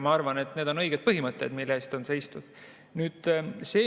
Ma arvan, et need on õiged põhimõtted, mille eest on seistud.